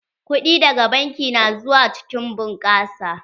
Kuɗi daga banki na zuwa cikin bunƙasa.